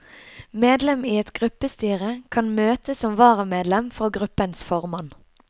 Medlem i et gruppestyre kan møte som varamedlem for gruppens formann.